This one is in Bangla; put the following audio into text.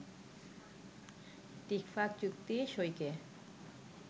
টিকফা চুক্তি সইকে